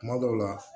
Kuma dɔw la